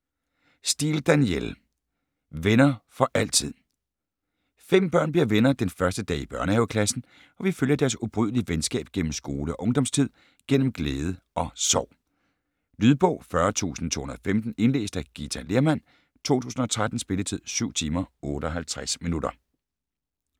Steel, Danielle: Venner for altid Fem børn bliver venner den første dag i børnehaveklassen, og vi følger deres ubrydelige venskab gennem skole- og ungdomstid, gennem glæde og sorg. Lydbog 40215 Indlæst af Githa Lehrmann, 2013. Spilletid: 7 timer, 58 minutter.